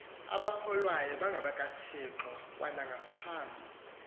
abakholwayo bangabakathixo kwanaphambi